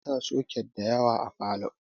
Ana sa soket da yawa a falow